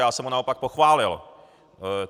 Já jsem ho naopak pochválil.